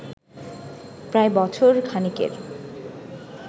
প্রায় বছর খানেকের